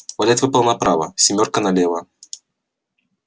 валет выпал направо семёрка налево